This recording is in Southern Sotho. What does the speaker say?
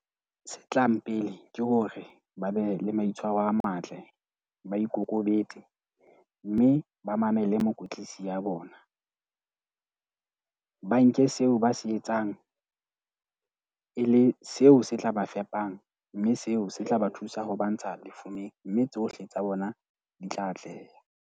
Se tlang pele ke hore ba be le maitshwaro a matle, ba ikokobetse mme ba mamele mokwetlisi ya bona. Ba nke seo ba se etsang e le seo se tla ba fepang. Mme seo se tla ba thusa ho ba ntsha lefumeng, mme tsohle tsa bona di tla atleha.